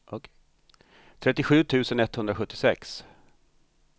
trettiosju tusen etthundrasjuttiosex